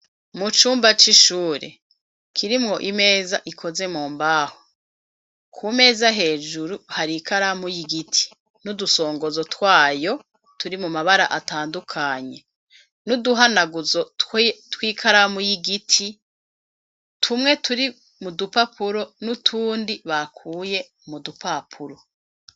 Mu cumba c'ishure, kirimwo imeza, ikoze mu mbaho, ku meza hejuru, hari ikaramu y'igiti, n'udusongozo twayo, turi mu mabara atandukanye, nuduhanaguzo tw'ikaramu y'igiti, tumwe, turi mu dupapuro n'utundi, bakuye mu dupapuro.